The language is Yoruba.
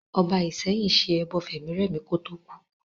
Ọba Ìsẹ́yìn ṣe ẹbọ fẹ̀mírẹ̀mí kò tó kú